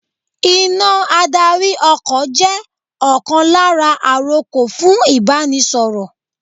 Iná adarí ọkọ̀ jẹ́ ọ̀kan lára àrokò fún Ìbánisọ̀rọ̀